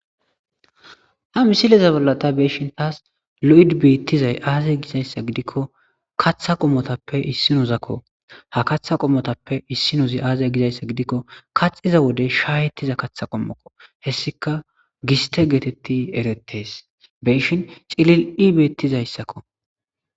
ha misileza bolla ta be7ishin taas lo7idi bettizay aazee gizayssa gidikko katha qommotappe issinozakko ha katha qommotappe issinozi aazee gizayssa gidikko kaxiza wode shaayetiza katha qommoko hessika giste geetetti erettes beshin cilil7i beettizayssakko